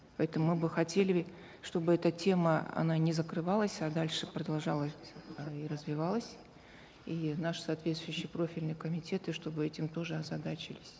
поэтому мы бы хотели чтобы эта тема она не закрывалась а дальше продолжалась и развивалась и наши соответствующие профильные комитеты чтобы этим тоже озадачились